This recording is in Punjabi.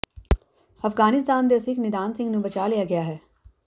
ਅਫਗਾਨਿਸਤਾਨ ਦੇ ਸਿੱਖ ਨਿਦਾਨ ਸਿੰਘ ਨੂੰ ਬਚਾਇਆ ਲਿਆ ਗਿਆ ਹੈ